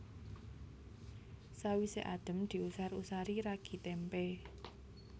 Sawisé adhem diusar usari ragi témpé